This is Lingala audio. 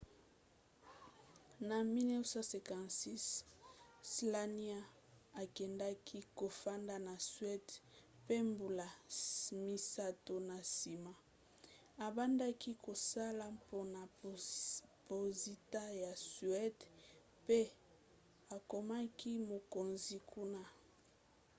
na 1956 słania akendaki kofanda na suède pe mbula misato na nsima abandaki kosala mpona posita ya suéde pe akomaki mokonzi kuna